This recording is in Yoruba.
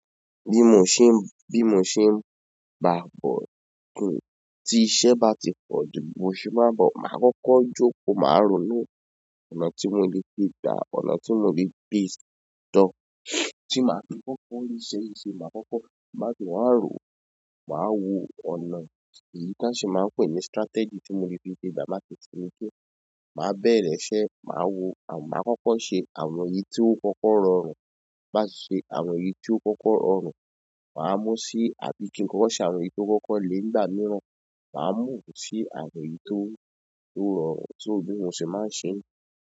Bí mo ṣe ń, bí mo ṣe ń bá bọ̀kún, tí iṣẹ́ bá ti pọ̀ju, bí mo ṣe máa bọ̀, màá kọ́kọ́ jókòó, màá rò ó nù, ọ̀nà tí mo le gbe gbá, ọ̀nà tí mo lè gbé lọ, tí màá fi kọ́kọ́ rí iṣẹ́ yìí ṣe, màá kọ́kọ́ bá ti wá rò ó, màá wo ọ̀nà èyí táa ṣe máa ń pè ní strategy tí mo lè fi ṣe dá, màá tẹ̀tẹ̀rí pé màá bẹ̀rẹ̀ iṣẹ́, màá wo, màá kọ́kọ́ ṣe àwọn èyí tí ó kọ́kọ́ rọrùn, bá ti ṣe àwọn èyí tí ó kọ́kọ́ rọrùn, màá mú sí àbí kí n kọ́kọ́ ṣe àwọn èyí tí ó kọ́kọ́ le ńigbà mìíràn, màá mú sí àwọn èyí tó, tó rọrùn, so bí mo ṣe máa ń ṣe.